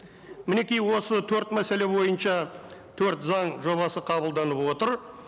мінеки осы төрт мәселе бойынша төрт заң жобасы қабылданып отыр